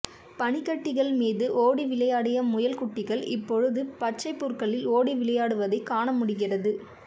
பனிக்கட்டிகள் மீது ஓடி விளையாடிய முயல் குட்டிகள் இப்பொழுது பச்சைப்புற்களில் ஓடி விளையாடுவதைக் காண முடிகிறது